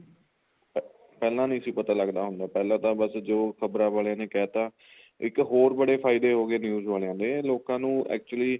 ਅਹ ਪਹਿਲਾਂ ਨੀਂ ਸੀ ਪਤਾ ਲੱਗਦਾ ਹੁੰਦਾ ਪਹਿਲਾਂ ਤਾਂ ਵ ਬੱਸ ਜੋ ਖ਼ਬਰਾ ਵਾਲਿਆਂ ਨੇ ਕਹਿ ਤਾਂ ਇੱਕ ਹੋਰ ਬੜੇ ਫਾਇਦੇ ਹੋ ਗਏ news ਵਾਲਿਆ ਦੇ ਲੋਕਾ ਨੂੰ actually